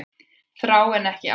Þrá en ekki ást